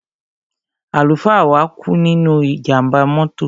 Àlùfáà wa kú nínú ìjàmbá mọ́tò.